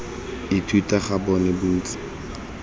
ithuta ga bona bo ntse